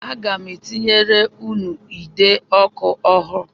Aga m etinyere ụnụ ide ọkụ ọhụụ